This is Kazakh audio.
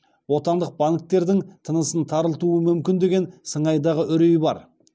отандық банктердің тынысын тарылтуы мүмкін деген сыңайдағы үрей бар